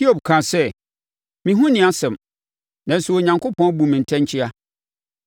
“Hiob kaa sɛ, ‘Me ho nni asɛm, nanso Onyankopɔn abu me ntɛnkyea.